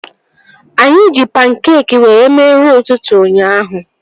Anyị ji pankeekị were mee nri ụtụtụ ụnyaahụ